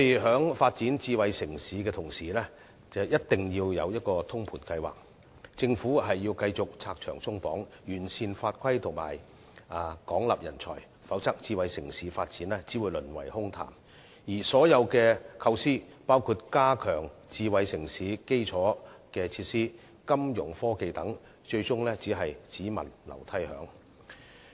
在發展智慧城市的同時，政府一定要有通盤計劃，繼續拆牆鬆綁，完善法規及廣納人才，否則智慧城市發展只會淪為空談，而所有構思，包括加強智慧城市的基礎設施、金融科技等，最終只會變成"只聞樓梯響"。